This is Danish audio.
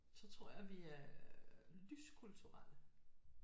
Så tror jeg vi er lys kulturelle